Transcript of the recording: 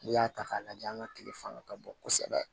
N'i y'a ta k'a lajɛ an ka tile fanga ka bon kosɛbɛ